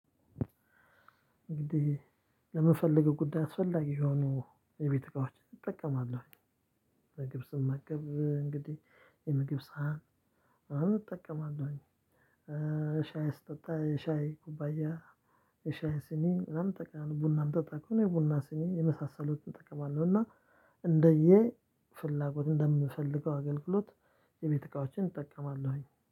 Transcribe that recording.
እንግዲህ ለምፈልገው ጉዳይ አስፈላጊ የሆኑ የቤት እቃዎች እጠቀማለሁ። ምግብ ስመገብ እንግዲህ የምግብ ሳህን አሁን እጠቀማለሁኝ። ሻይ ስጠጣ የሻይ ኩባያ የሻይ ስኒ ምናምን እጠቀማለሁ ቡናም ምጠጠ ከሆነ የቡና ስኒ የመሳሰሉትን እጠቀማለሁ። እና እንደየ ፍላጎት እንደምፈልገው አገልግሎት የቤት እቃዎችን እጠቀማለሁኝ